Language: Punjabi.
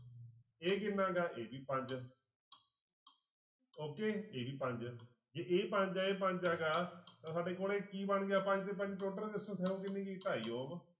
ਇਹ ਕਿੰਨਾ ਗਾ ਇਹ ਵੀ ਪੰਜ okay ਇਹ ਵੀ ਪੰਜ ਜੇ ਇਹ ਪੰਜ ਇਹ ਪੰਜ ਹੈਗਾ ਤਾਂਂ ਸਾਡੇ ਕੋਲੇ ਕੀ ਬਣ ਗਿਆ ਪੰਜ ਤੇ ਪੰਜ total resistance ਹੋ ਕਿੰਨੀ ਗਈ ਢਾਈ